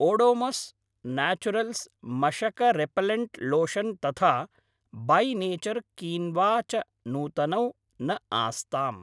Odomos naturals मशकरेपेल्लण्ट् lotion तथा by nature quinoa च नूतनौ न आस्ताम्।